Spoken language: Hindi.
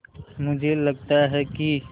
मुझे लगता है कि